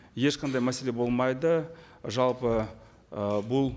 ешқандай мәселе болмайды жалпы ы бұл